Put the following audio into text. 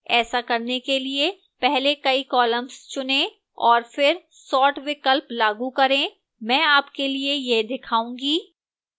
ऐसा करने के लिए पहले कई columns चुनें और फिर sort विकल्प लागू करें मैं आपके लिए यह दिखाऊंगी